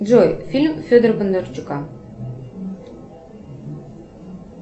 джой фильм федора бондарчука